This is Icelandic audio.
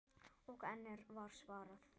Og enn var svarað